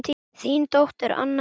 Þín dóttir Anna Elín.